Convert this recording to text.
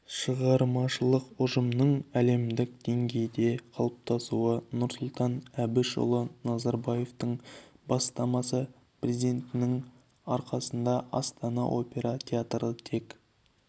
шығармашылық ұжымның әлемдік деңгейде қалыптасуы нұрсұлтан әбішұлы назарбаевтың бастамасы президентінің арқасында астана опера театры тек